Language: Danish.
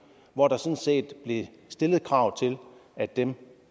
hvor der sådan set blev stillet krav til at dem